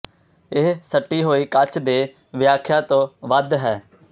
ਇਹ ਸਟੀ ਹੋਈ ਕੱਚ ਦੇ ਵਿਆਖਿਆ ਤੋਂ ਵੱਧ ਹੈ